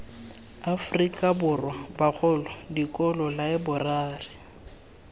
aforika borwa bagolo dikolo laeborari